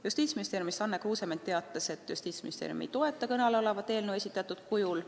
Justiitsministeeriumi esindaja Anne Kruusement teatas, et Justiitsministeerium ei toeta kõne all olevat eelnõu esitatud kujul.